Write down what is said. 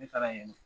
Ne taara yen